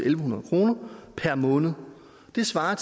en hundrede kroner per måned det svarer